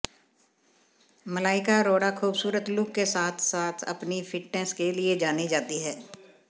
मलाइका अरोड़ा खूबसूरत लुक के साथ साथ अपनी फिटनेस के लिए जानी जाती है